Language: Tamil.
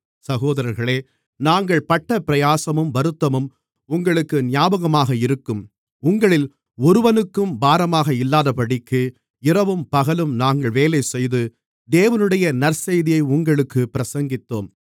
சகோதரர்களே நாங்கள் பட்ட பிரயாசமும் வருத்தமும் உங்களுக்கு ஞாபகமாக இருக்கும் உங்களில் ஒருவனுக்கும் பாரமாக இல்லாதபடிக்கு இரவும் பகலும் நாங்கள் வேலைசெய்து தேவனுடைய நற்செய்தியை உங்களுக்குப் பிரசங்கித்தோம்